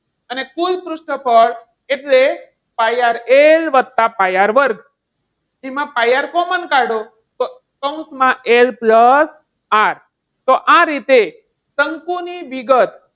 અને કુલ પૃષ્ઠફળ એટલે પાય આર વત્તા પાય આર વર્ગ એમાં પાય આર કોમન કાઢો કૌંસમાં L plus R તો આ રીતે શંકુની વિગત,